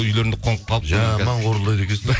үйлерінде қонып қалып жаман қорылдайды екенсің